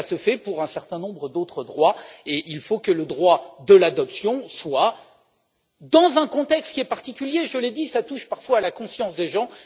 Cela existe pour un certain nombre d'autres droits et il faut que le droit de l'adoption en fasse partie, mais dans un contexte qui est particulier je l'ai dit, ça touche parfois la conscience des gens.